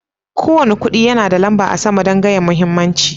Ko wani kudi yana da lamba a sama dan gaya muhimmancin.